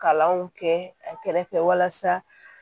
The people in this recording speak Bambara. Kalanw kɛ a kɛrɛfɛ walasa